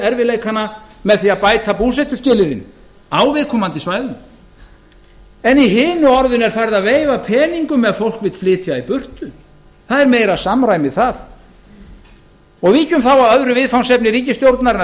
erfiðleikana með því að bæta búsetuskilyrðin á viðkomandi svæðum en í hinu orðinu er farið að veifa peningum ef fólk vill flytja burt það er meira samræmi þar víkjum þá að öðru viðfangsefni ríkisstjórnarinnar